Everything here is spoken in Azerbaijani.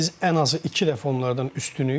biz ən azı iki dəfə onlardan üstünük.